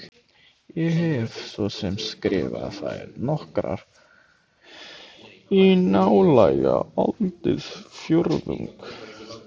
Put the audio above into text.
Ég hef svo sem skrifað þær nokkrar í nálega aldarfjórðung.